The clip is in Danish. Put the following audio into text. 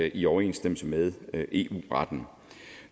i overensstemmelse med eu retten